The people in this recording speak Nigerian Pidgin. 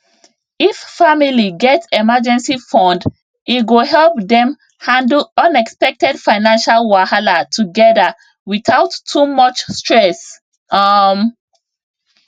if family get emergency fund e go help dem handle unexpected financial wahala together without too much stress um